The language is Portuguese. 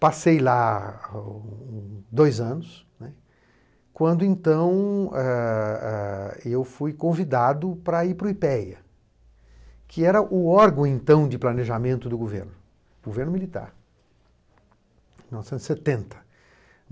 Passei lá um dois anos, né, quando então eh eh eu fui convidado para ir para o i pê ê á, que era o órgão de planejamento do governo governo militar, em mil novecentos e setenta.